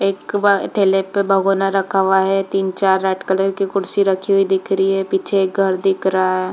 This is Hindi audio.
एक ढेले पे भगोना रखा हुआ है तीन चार रेड कलर के कुर्सी रखी हुई दिख रही है पीछे एक घर दिख रहा हैं।